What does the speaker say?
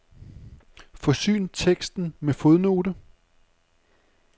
Forsyn teksten med fodnote.